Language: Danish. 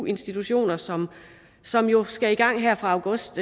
institutioner som som jo skal i gang her fra august